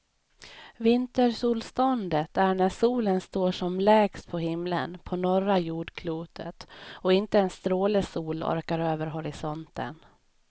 Vintersolståndet är när solen står som lägst på himlen på norra jordklotet och inte en stråle sol orkar över horisonten.